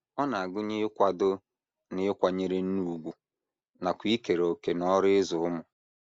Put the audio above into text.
Ọ na - agụnye ịkwado na ịkwanyere nne ùgwù nakwa ikere òkè n’ọrụ ịzụ ụmụ.